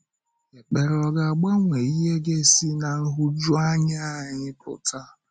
Ekpere ọ̀ ga-agbanwe ihe ga-esi ná nhụjuanya anyị pụta?